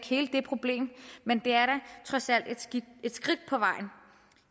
hele det problem men det er da trods alt et skridt på vejen